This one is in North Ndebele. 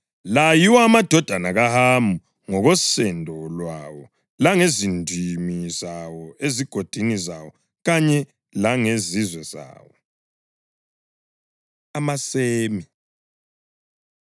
La yiwo amadodana kaHamu ngokosendo lwawo langezindimi zawo, ezigodini zawo kanye langezizwe zawo. AmaSemi